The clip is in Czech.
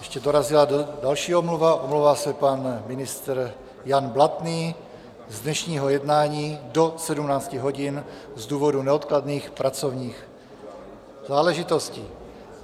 Ještě dorazila další omluva, omlouvá se pan ministr Jan Blatný z dnešního jednání do 17 hodin z důvodu neodkladných pracovních záležitostí.